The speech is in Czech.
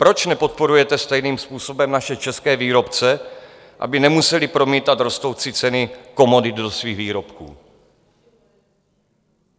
Proč nepodporujete stejným způsobem naše české výrobce, aby nemuseli promítat rostoucí ceny komodit do svých výrobků?